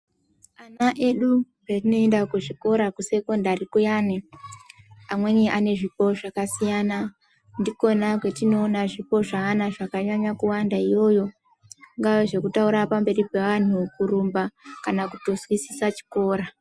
Ana edu paanoenda kuzvikora kusekondari kuyani amweni ane zvipo zvakasiyana ndikona kwatinoona zvipo zveana zvakanyanya kuwanda iyoyo zvingawa zvekutaura pamberi pavantu, kurumba kana kutozwisisa chikora .